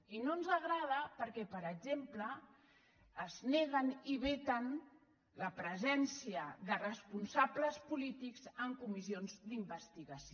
i no ens agrada perquè per exemple es neguen i veten la presència de responsables polítics en comissions d’investigació